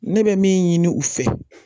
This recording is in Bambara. Ne bɛ min ɲini u fɛ